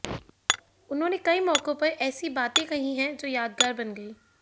उन्होंने कई मौौकों पर ऐसी बाते कही है जो यादगार बन गई